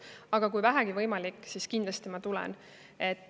Aga kui vähegi võimalik, siis kindlasti ma tulen.